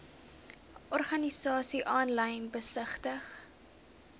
organisasies aanlyn besigtig